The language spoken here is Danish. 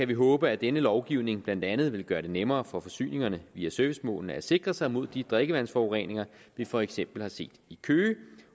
vi håbe at denne lovgivning blandt andet vil gøre det nemmere for forsyningerne via servicemålene at sikre sig mod de drikkevandsforureninger vi for eksempel har set i køge